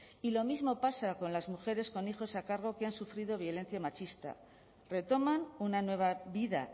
y lo mismo pasa con las mujeres con hijos a cargo que han sufrido violencia machista retoman una nueva vida